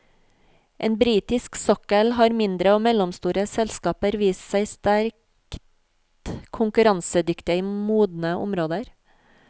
På britisk sokkel har mindre og mellomstore selskaper vist seg sterkt konkurransedyktige i modne områder.